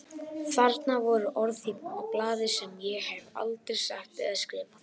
Þarna voru orð á blaði sem ég hef aldrei sagt eða skrifað.